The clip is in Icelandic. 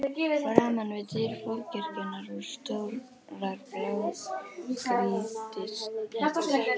Framan við dyr forkirkjunnar voru stórar blágrýtishellur.